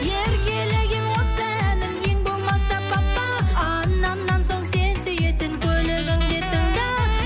еркелеген осы әнім ең болмаса папа анамнан соң сен сүйетін көлігіңде тыңда